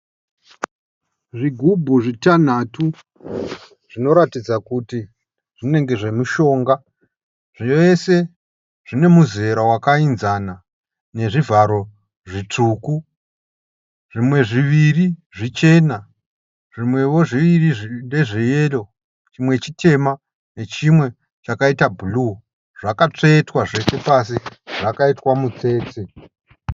Zvigubhu zvitanhatu zvinoratidza kuti zvinenge zvemushonga. Zvese zvine muzera wakainzana nezvivharo zvitsvuku. Zvimwe zviviri zvichena, zvimwewo zviviri ndezveyero chimwe chitema nechimwe chakaita bhuruu. Zvakatsvetwa zvose pasi zvakaitwa mutsetse.